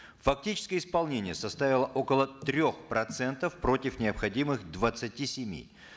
фактически исполнение составило около трех процентов против необходимых двадцати семи